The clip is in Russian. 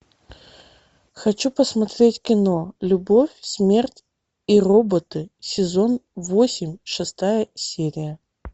хочу посмотреть кино любовь смерть и роботы сезон восемь шестая серия